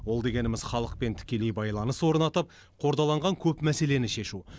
ол дегеніміз халықпен тікелей байланыс орнатып қордаланған көп мәселені шешу